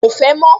Ko fẹ́ mọ́